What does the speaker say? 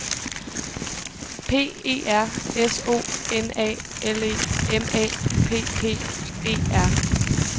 P E R S O N A L E M A P P E R